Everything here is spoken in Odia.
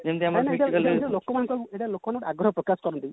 ଏତ ଲୋକମାନେ ଆଗ୍ରହ ପ୍ରକାଶ କରନ୍ତି